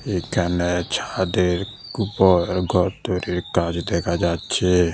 এখানে ছাদের উপর ঘর তৈরির কাজ দেখা যাচ্ছে।